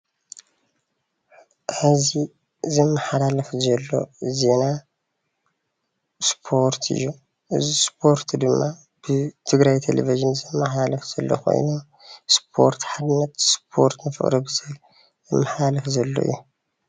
ሐዚ ዝመሓላለፍ ዘሎ ዜና ስፖርት እዩ። እዚ ስፖርት ድማ ብ ትግራይ ቴሌቪዥን ዝመሐላለፍ ዘሎ ኮይኑ ስፖርት ሓድነት፣ ስፖርት ንፍቅሪ ብዝብል ዝመሐላለፍ ዘሎ እዩ።